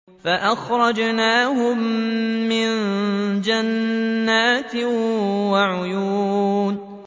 فَأَخْرَجْنَاهُم مِّن جَنَّاتٍ وَعُيُونٍ